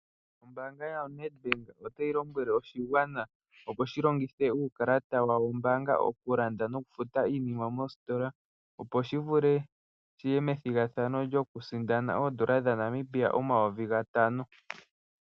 Ombaanga yaNedbank otayi lombwele oshigwana opo shi longithe uukalata wa wo wombaanga, okulanda nokufuta iinima mositola, opo shi vule shiye methigathano lyoku sindana oondola dhaNamibia omayovi gatano.